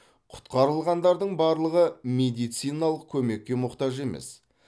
құтқарылғандардың барлығы медициналық көмекке мұқтаж емес